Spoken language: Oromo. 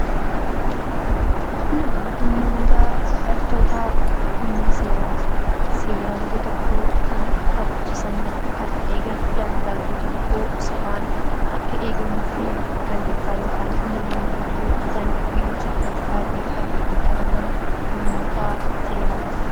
Namoonni kun hidhattoota humna seeraati. Seera biyya tokkoo kan kabachiisanii fi kan eegan, daangaa biyyaa seeraan akka eegamuu fi namoonni balleessan seeratti akka dhiyaatan kan taasisanidha.